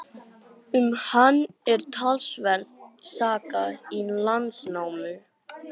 Um hann er talsverð saga í Landnámu.